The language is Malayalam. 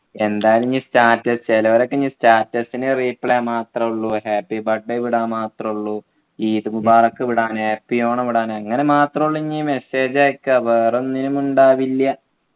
എന്തായാലും ഇനി status ചെലവരൊക്കെ ഇനി status നു reply മാത്രേ ഉള്ളു happy birthday വിടുക മാത്രേ ഉള്ളു ഈദ് മുബാറക് വിടാന് happy ഓണം വിടാന് അങ്ങനെ മാത്രേ ഉള്ളു ഇനി message അയക്കുക വേറൊന്നിനും ഉണ്ടാവില്ല